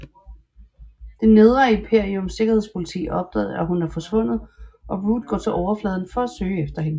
Det Nedre Imperiums Sikkerhedspoliti opdager at hun er forsvundet og Root går til overfladen for at søge efter hende